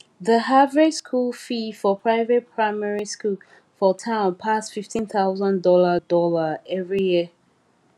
the average school fee for private primary school for town pass fifteen thousand dollar dollar every year